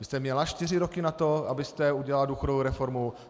Vy jste měla čtyři roky na to, abyste udělala důchodovou reformu.